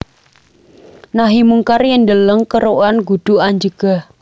Nahi mungkar yen deleng kerukan kudu anjegah